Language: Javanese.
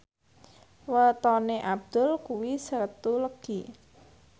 wetone Abdul kuwi Setu Legi